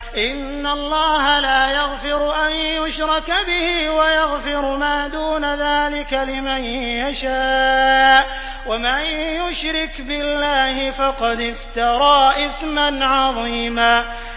إِنَّ اللَّهَ لَا يَغْفِرُ أَن يُشْرَكَ بِهِ وَيَغْفِرُ مَا دُونَ ذَٰلِكَ لِمَن يَشَاءُ ۚ وَمَن يُشْرِكْ بِاللَّهِ فَقَدِ افْتَرَىٰ إِثْمًا عَظِيمًا